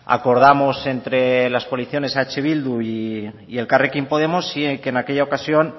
acordamos entre las coaliciones eh bildu y elkarrekin podemos y que en aquella ocasión